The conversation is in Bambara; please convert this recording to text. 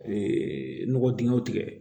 nɔgɔ dingɛw tigɛ